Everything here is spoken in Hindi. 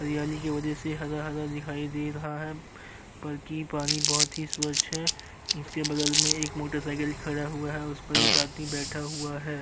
हरियाली की वजह से हरा-हरा दिखाई दे रहा है बल्कि पानी बोहोत ही स्वच्छ है। उसके बगल में एक मोटरसाइकिल खड़ा हुआ है और उस पर एक आदमी बैठा हुआ है।